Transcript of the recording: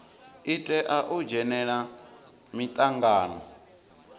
i tea u dzhenela mitangano